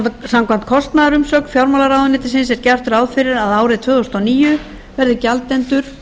samkvæmt kostnaðarumsögn fjármálaráðuneytisins er gert ráð fyrir að árið tvö þúsund og níu verði gjaldendur